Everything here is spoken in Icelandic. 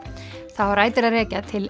það á rætur að rekja til